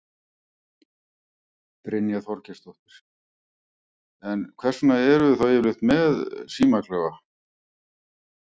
Brynja Þorgeirsdóttir: En hvers vegna eruð þið þá yfirleitt með símaklefa?